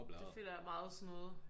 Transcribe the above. Det føler jeg er meget sådan noget